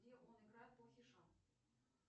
где он играет плохиша